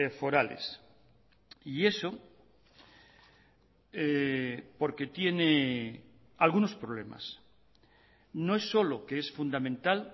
forales y eso porque tiene algunos problemas no es solo que es fundamental